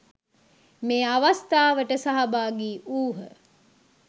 මේ අවස්ථාවට සහභාගී වූහ.